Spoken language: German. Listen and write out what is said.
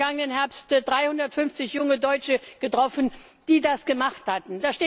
Ich habe im vergangenen Herbst 350 junge Deutsche getroffen, die das gemacht haben.